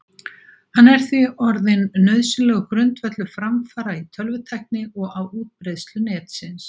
Hann er því orðinn nauðsynlegur grundvöllur framfara í tölvutækni og á útbreiðslu Netsins.